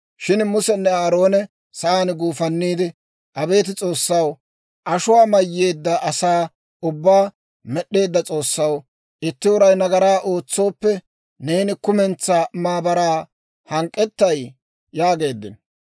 Shin Musenne Aarooni sa'aan guufanniide, «Abeet S'oossaw, ashuwaa mayyeedda asaa ubbaa med'd'eedda S'oossaw, itti uray nagaraa ootsooppe, neeni kumentsaa maabaraa hank'k'ettay?» yaageeddino.